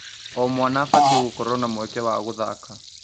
O mwana abatiĩ gũkorwo na mweke wa gũthaka.